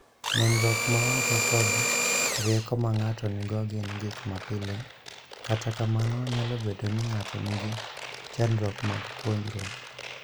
Nenruok ma oko kod rieko ma ng'ato nigo gin gik mapile, kata kamano, nyalo bedo ni ng'ato nigi chandruok mag puonjruok.